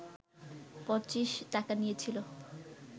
পঁচিশ টাকা নিয়েছিল